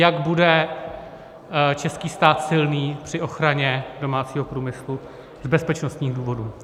Jak bude český stát silný při ochraně domácího průmyslu z bezpečnostních důvodů.